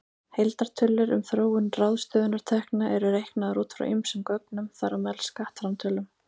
Heildartölur um þróun ráðstöfunartekna eru reiknaðar út frá ýmsum gögnum, þar á meðal skattframtölum.